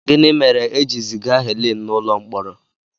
Gịnị mere e ji ziga Helen n'ụlọ mkpọrọ?